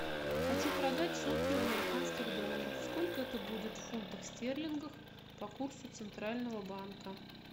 хочу продать сотню американских долларов сколько это будет в фунтах стерлингах по курсу центрального банка